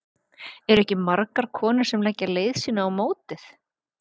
Eru ekki margar konur sem leggja leið sína á mótið?